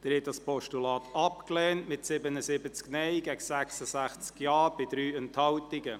Sie haben das Postulat abgelehnt, mit 77 Nein- gegen 66 Ja-Stimmen bei 3 Enthaltungen.